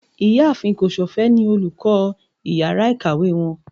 ìyáàfín kosofe ní olukọ ìyára ikáwe wón.